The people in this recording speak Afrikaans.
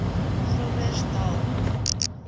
groblersdal